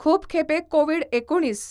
खूप खेपे कोविड एकुणीस